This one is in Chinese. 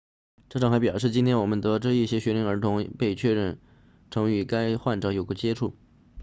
州长还表示今天我们得知一些学龄儿童已被确认曾与该患者有过接触